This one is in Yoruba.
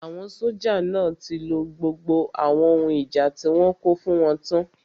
Àwọn sójà náà tí lo gbogbo àwọn ohun ìjà tí wọ́n kó fún wọn tán